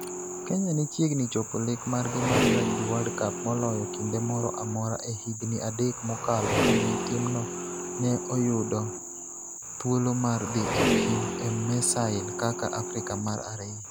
Kenya ne chiegni chopo lek margi mar Rugby World Cup moloyo kinde moro amora e higini adek mokalo kane timno ne oyudo thuolo mar dhi e piem e Marseille kaka Afrika mar ariyo.